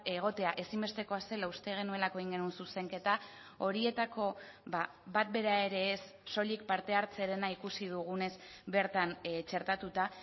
egotea ezinbestekoa zela uste genuelako egin genuen zuzenketa horietako bat bera ere ez soilik parte hartzearena ikusi dugunez bertan txertatuta